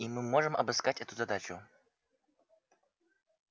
и мы можем обыскать эту задачу